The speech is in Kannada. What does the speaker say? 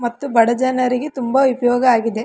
ಮತ್ತು ಬಡ ಜನರಿಗೆ ತುಂಬಾ ಉಪಯೋಗ ಆಗಿದೆ.